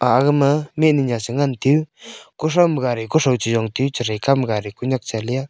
aga ma mihnyu nya che ngan teyu ko tho ma gadi kothoo chejong taiyu chethai kau ma gadi kanyak cha le ya.